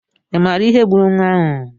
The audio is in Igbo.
I maara ihe gburu nwa ahụ?